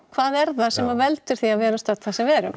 hvað er það sem að veldur því að við erum stödd þar sem við erum